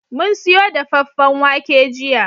Mun siyo dafaffen wake jiya